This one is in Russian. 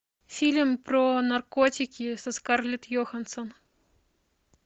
фильм про наркотики со скарлетт йоханссон